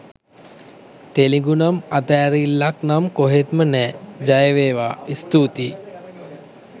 තෙලිඟුනම් අතෑරිල්ලක්නම් කොහෙත්ම නෑ! ජයවේවා! ස්තූතියි!